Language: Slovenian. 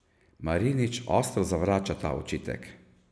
Marinič ostro zavrača ta očitek.